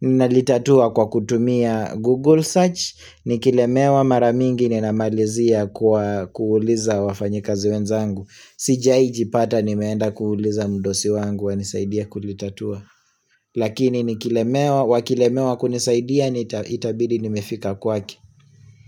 Ninalitatua kwa kutumia Google search Nikilemewa mara mingi ninamalizia kwa kuuliza wafanyikazi wenzangu sijai jipata nimeenda kuuliza mdosi wangu anisaidie kulitatua Lakini nikilemewa, wakilemewa kunisaidia nita itabidi nimefika kwake.